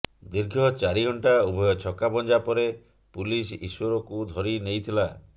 ଦୀର୍ଘ ଚାରି ଘଣ୍ଟା ଉଭୟ ଛକାପଞ୍ଝା ପରେ ପୁଲିସ ଈଶ୍ୱରକୁ ଧରି ନେଇଥିଲା